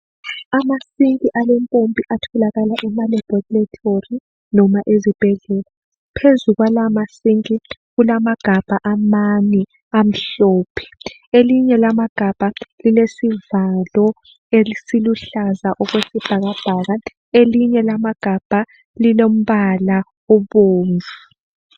Amasinki alempompi atholakala emalebholethori noma ezibhedlela. Phezu kwalamasinki kulamagabha amane, amhlophe. Elinye lamagabha lilesivalo esiluhlaza okwesibhakabhaka elinye lamagabha lilombala obomvu.